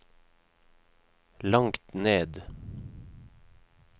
langt ned